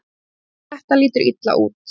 Þetta lítur illa út.